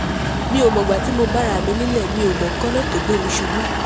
mi ò mọ̀gbà tí mo bá ara mi nílé mi ò mọ nǹkan náà tó gbé mi ṣubú